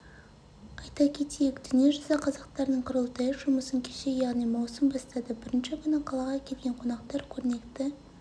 айта кетейік дүниежүзі қазақтарының құрылтайы жұмысын кеше яғни маусым бастады бірінші күні қалаға келген қонақтар көрнекті